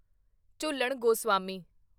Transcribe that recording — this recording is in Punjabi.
ਝੂਲਣ ਗੋਸਵਾਮੀ